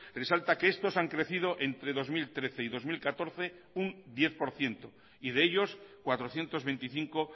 resalta que estos han crecido entre dos mil trece y dos mil catorce un diez por ciento y de ellos cuatrocientos veinticinco